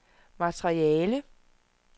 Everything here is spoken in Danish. materiale